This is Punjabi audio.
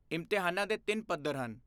ਇਮਤਿਹਾਨਾਂ ਦੇ ਤਿੰਨ ਪੱਧਰ ਹਨ।